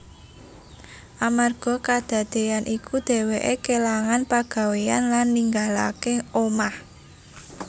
Amarga kadadéyan iku dhèwèké kélangan pagawéyan lan ninggalaké omah